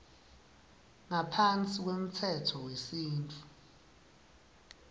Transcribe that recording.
ngaphansi kwemtsetfo wesintfu